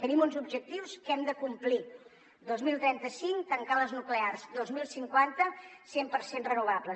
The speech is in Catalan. tenim uns objectius que hem de complir dos mil trenta cinc tancar les nuclears dos mil cinquanta cent per cent renovables